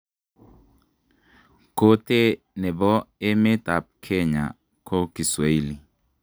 Kotee ne bo emet ab kenya ko kiswahili